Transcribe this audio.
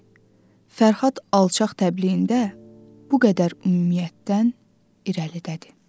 Fərhad alçaq təbliğində bu qədər ümumiyyətdən irəlidədir.